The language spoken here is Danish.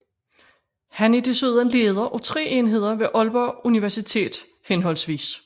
Han er desuden leder af tre enheder ved Aalborg Universitet hhv